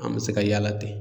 An me se ka yala ten